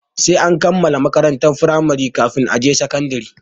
Sai an kammala makarantar firamari kafin a tafi sakandare.